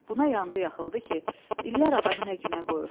Buna yandı-yaxıldı ki, illər adamı nə günə qoyur.